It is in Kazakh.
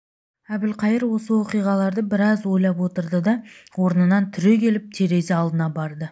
әбілқайыр осы оқиғаларды біраз ойлап отырды да орнынан түрегеліп терезе алдына барды